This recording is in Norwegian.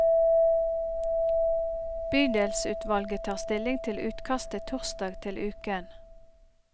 Bydelsutvalget tar stilling til utkastet torsdag til uken.